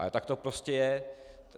Ale tak to prostě je.